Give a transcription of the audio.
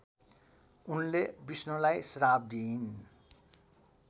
उनले विष्णुलाई श्राप दिइन्